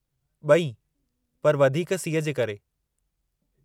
ब॒ई, पर वधीक सीउ जे करे।